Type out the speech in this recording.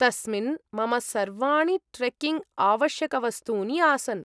तस्मिन् मम सर्वाणि ट्रेक्किंग् आवश्यकवस्तूनि आसन्।